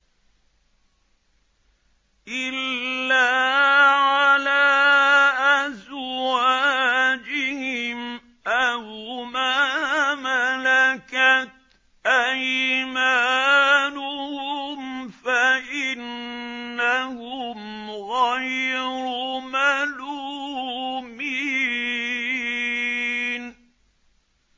إِلَّا عَلَىٰ أَزْوَاجِهِمْ أَوْ مَا مَلَكَتْ أَيْمَانُهُمْ فَإِنَّهُمْ غَيْرُ مَلُومِينَ